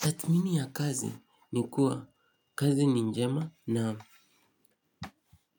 Tathmini ya kazi ni kuwa kazi ni njema na